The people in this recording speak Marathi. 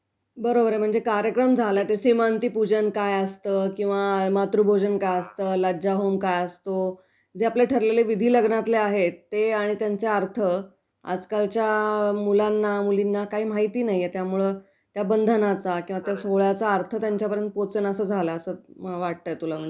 बरोबर आहे, म्हणजे कार्यक्रम झाला ते सीमंतिपूजन काय असतं किंवा मातृभोजन काय असतं किंवा लज्जा होम काय असतो जे आपले ठरलेले विधी लग्नातले आहेत ते आणि त्यांचे अर्थ आजकालच्या मुलांना, मुलींना काही माहिती नाहीयेत त्यामुळं त्या बंधनाचा किंवा त्या सोहळ्याचा अर्थ त्यांच्यापर्यंत पोचेनासा झालाय असं तुला वाटतंय म्हणजे ना?